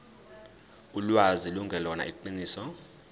ulwazi lungelona iqiniso